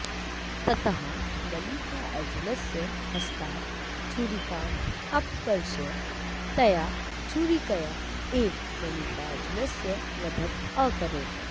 ततः मल्लिकार्जुनस्य हस्तात् छुरिकाम् अपकर्ष्य तया छुरिकया एव मल्लिकार्जुनस्य वधम् अकरोत्